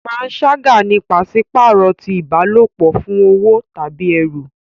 Panṣaga ni paṣipaarọ ti ìbálòpọ̀ fún owo tàbí ẹrú.